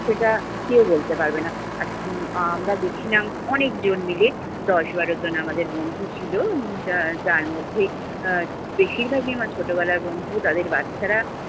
সেটা কেউ বলতে পারবে না। আর আমরা গেছিলাম অনেকজন মিলে, দশ-বারজন আমাদের বন্ধু ছিলো। যার যার মধ্যে আহ বেশিরভাগই আমারা ছোটবেলার বন্ধু। তাদের বাচ্চারা,